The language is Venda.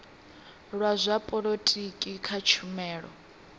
la zwa polotiki kha tshumelo